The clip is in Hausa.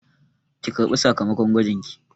Ki ƙarɓi sakamakon gwajinki!